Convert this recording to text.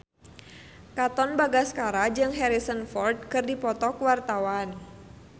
Katon Bagaskara jeung Harrison Ford keur dipoto ku wartawan